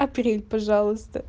апрель пожалуйста